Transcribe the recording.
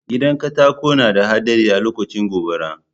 Gidan katako na da haɗari alokacin gobara